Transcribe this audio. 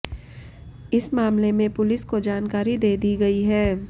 इस मामले में पुलिस का जानकारी दे दी गई है